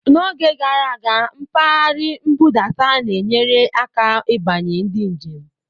N'oge gara aga, mpaghara nbudata na-enyere aka ịbanye ndị njem.